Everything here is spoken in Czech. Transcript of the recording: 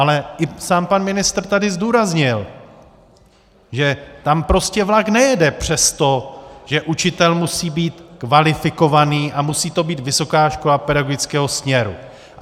Ale i sám pan ministr tady zdůraznil, že tam prostě vlak nejede přes to, že učitel musí být kvalifikovaný a musí to být vysoká škola pedagogického směru.